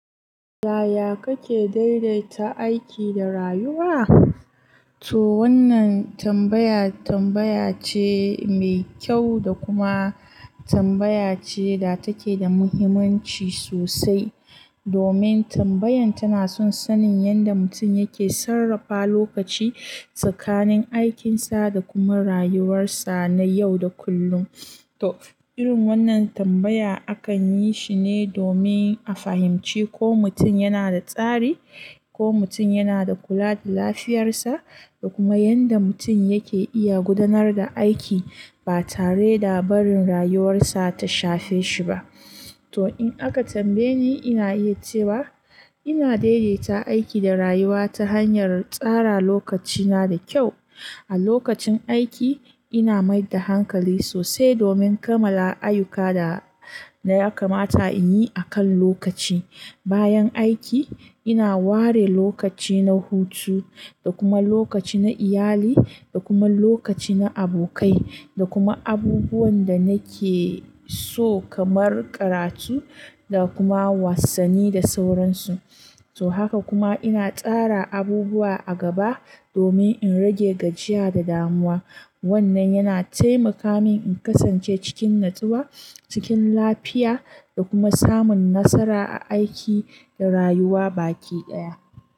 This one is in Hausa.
Yaya kake daidaita aiki da rayuwa? To wannan tambaya tambaya ce mai kyau da kuma tambaya ce da take da muhimmanci sosai. Domin tambayan tana son sanin yadda mutum yake sarrafa lokaci tsakanin aikinsa da kuma rayuwarsa na yau da kullum. To irin wannan tambaya akan yi shi ne domin a fahimci ko mutum yana da tsari, ko mutum yana da kula da lafiyarsa da kuma yadda mutum yake iya gudanar da aiki ba tare da barin rayuwarsa ta shafe shi ba. To in aka tambaye ni ina iya cewa ina daidaita aiki da rayuwa ta hanyar tsara lokacina da kyau. A lokacin aiki ina mai da hankali sosai domin kammala ayyuka da na kamata in yi a kan lokaci. Bayan aiki ina ware lokaci na hutu da kuma lokaci na iyali da kuma lokaci na abokai da kuma abubuwan da nake so kamar karatu da kuma wasanni da sauransu. To haka kuma ina tsara abubuwa a gaba domin in rage gajiya da damuwa. Wannan yana taimaka min in kasance cikin natsuwa, cikin lafiya da kuma samun nasara a aiki da rayuwa baki daya.